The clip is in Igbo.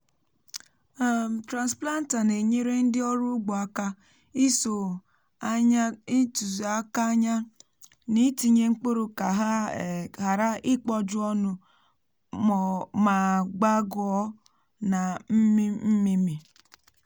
i kwesịrị kpụpụta mkpụrụ n’ ịsị ụtụtụ ma ọ bụ n’ mgbedè ehihie iji gbochie ọkụ anyanwụ ịsị ehihie kpụ ọkụ n’ahụ ha.